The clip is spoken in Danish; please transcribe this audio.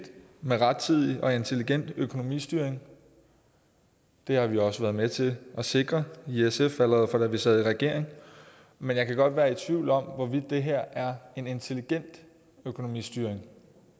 med rettidig og intelligent økonomistyring det har vi også været med til at sikre i sf allerede fra da vi sad i regering men jeg kan godt være i tvivl om hvorvidt det her er en intelligent økonomistyring